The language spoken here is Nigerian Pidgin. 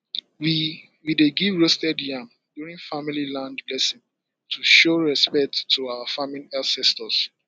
we we dey give roasted yam during family land blessing to show respect to our farming ancestors